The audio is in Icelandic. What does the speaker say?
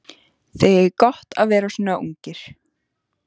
Þið eigið gott að vera svona ungir.